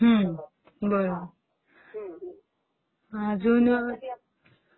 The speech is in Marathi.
हम्म्म........बरोबर...अजून